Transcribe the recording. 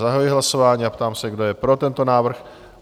Zahajuji hlasování a ptám se, kdo je pro tento návrh?